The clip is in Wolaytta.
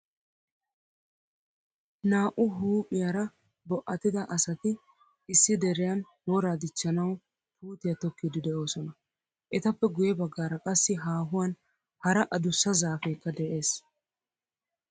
Naa'u huuphphiyaara bo'atida asati issi deriyan wora dichchanawu puutiyaa tokkidi deosona. Etappe guye baggaara qassi haahuwan hara adussaa zaafekka de'ees.